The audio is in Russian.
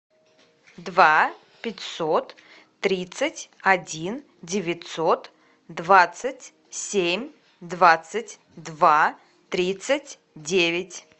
два пятьсот тридцать один девятьсот двадцать семь двадцать два тридцать девять